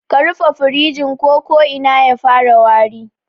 Ka rufe firijin ko ko'ina ya fara wari